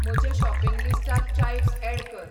म्हजे शॉपिंग लिस्टार chives add कर